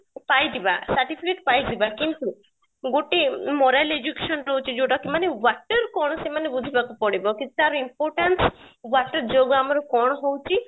ପାଇଯିବା, certificate ପାଇ ଯିବା କିନ୍ତୁ ଗୋଟେ moral education ରହୁଛି ଯୋଉଟା କି ମାନେ water କ'ଣ ସେମାନଙ୍କୁ ବୁଝିବାକୁ ପଡିବ କି ତାର importance water ଯୋଗୁ ଆମର କ'ଣ ହଉଛି